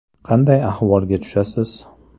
Qanday ahvolga tushasiz?